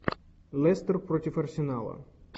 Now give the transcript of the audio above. лестер против арсенала